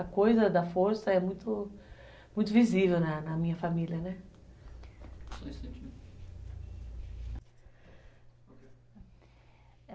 A coisa da força é muito, muito visível na minha família.